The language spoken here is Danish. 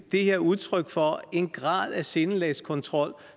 her udtryk for en grad af sindelagskontrol